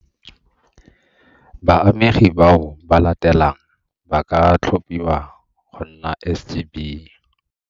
Baamegi bao ba latelang ba ka tlhophiwa go nna SGB.